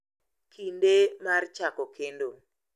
kinde mar chako kendo.